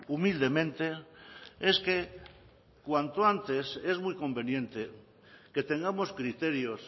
humildemente es que cuanto antes es muy conveniente que tengamos criterios